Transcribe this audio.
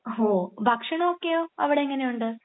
ഹോ. ഭക്ഷണം ഒക്കെയോ. അവിടെ എങ്ങനെയുണ്ട്?